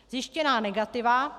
Zjištěná negativa.